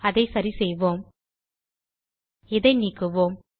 அதை சரிசெய்வோம் இதை நீக்குவோம்